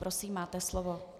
Prosím, máte slovo.